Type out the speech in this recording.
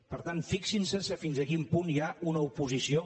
per tant fixin se fins a quin punt hi ha una oposició